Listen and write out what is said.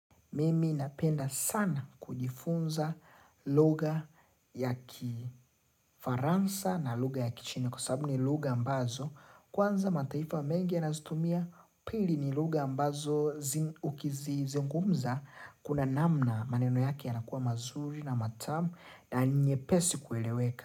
Mimi napenda sana kujifunza lugha ya kifaransa na lugha ya kichina kwa sababu ni lugha ambazo kwanza mataifa mengi yanazitumia pili ni lugha ambazo ukizizungumza kuna namna maneno yake yanakua mazuri na matamu na ninyepesi kueleweka.